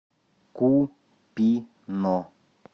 купино